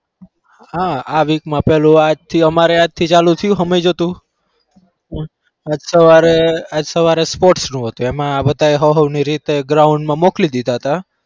હા આ week માં પેલો આજ થી અમારે આજથી ચાલુ થયું આજ સવારે આજ સવારે sports નું હતું એમાં બધા હઉ હઉ ની રીતે ground માં મોકલી દીધા હતા.